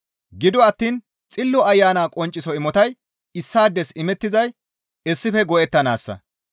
Gido attiin Xillo Ayana qoncciso imotay issaades imettizay issife go7ettanaassa.